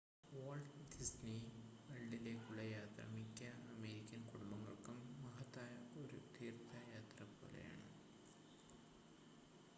Walt Disney വേൾഡിലേക്കുള്ള യാത്ര മിക്ക അമേരിക്കൻ കുടുംബങ്ങൾക്കും മഹത്തായ ഒരു തീർത്ഥയാത്ര പോലെയാണ്